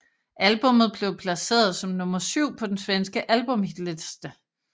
Albummet blev placeret som nummer syv på den svenske albumshitliste